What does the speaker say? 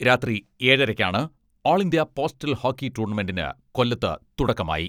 രാത്രി ഏഴരയ്ക്കാണ് all India postal hockey ടൂർണമെന്റിന് കൊല്ലത്ത് തുടക്കമായി.